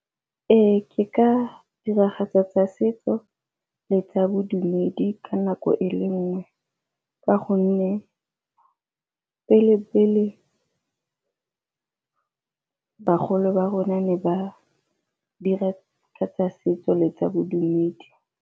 Ee, ke ka diragatsa tsa setso le tsa bodumedi ka nako e le nngwe ka gonne pele-pele, bagolo ba rona ne ba diragatsa setso le tsa bodumedi.